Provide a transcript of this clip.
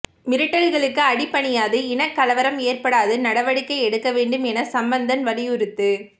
மிரட்டல்களுக்கு அடிபணியாது இனக் கலவரம் ஏற்படாது நடவடிக்கை எடுக்கவேண்டும் என சம்பந்தன் வலியுறுத்து